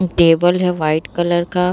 Table है white colour का ।